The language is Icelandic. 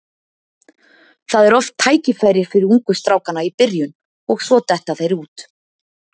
Það er oft tækifæri fyrir ungu strákana í byrjun og svo detta þeir út.